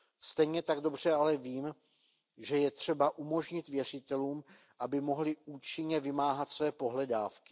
Stejně tak dobře ale vím, že je třeba umožnit věřitelům, aby mohli účinně vymáhat svoje pohledávky.